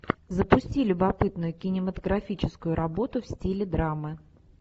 запусти любопытную кинематографическую работу в стиле драмы